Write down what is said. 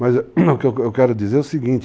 Mas o que eu eu quero dizer é o seguinte.